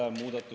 Aitäh!